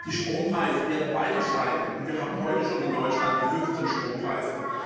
Die Strompreise werden weiter steigen, und wir haben heute schon in Deutschland die höchsten Strompreise.